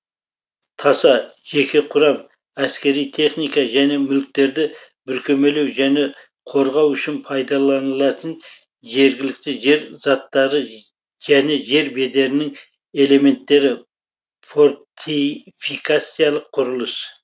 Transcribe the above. таса жеке құрам әскери техника және мүліктерді бүркемелеу және қорғау үшін пайдаланылатын жергілікті жер заттары және жер бедерінің элементтері фортификациялық құрылыс